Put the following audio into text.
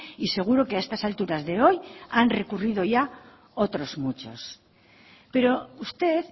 y seguro que a estas alturas de hoy han recurrido ya otros muchos pero usted